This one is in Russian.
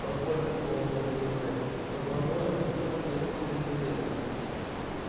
позвольте холодно возразил снегг но по-моему в школе я специалист по зельям